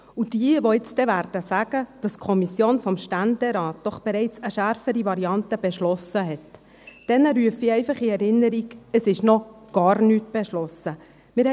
Jenen, die nun sagen werden, dass die Kommission des Ständerates doch bereits eine schärfere Variante beschlossen hat, rufe ich in Erinnerung, dass noch gar nichts beschlossen wurde.